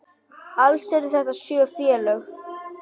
Alls eru þetta sjö félög.